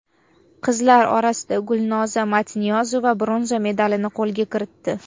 Qizlar orasida Gulnoza Matniyozova bronza medalni qo‘lga kiritdi.